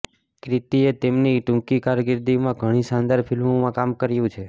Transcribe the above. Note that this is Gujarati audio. ક્રિતીએ તેમની ટૂંકી કારકિર્દીમાં ઘણી શાનદાર ફિલ્મોમાં કામ કર્યું છે